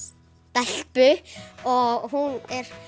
stelpu og hún er